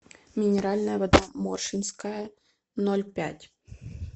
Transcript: минеральная вода моршинская ноль пять